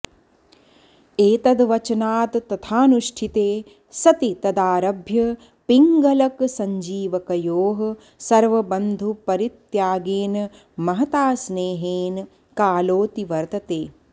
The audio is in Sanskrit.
एतद्वचनात्तथानुष्ठिते सति तदारभ्य पिङ्गलकसञ्जीवकयोः सर्वबन्धुपरित्यागेन महता स्नेहेन कालोऽतिवर्तते